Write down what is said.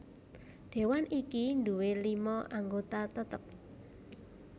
Dewan iki nduwé lima anggota tetep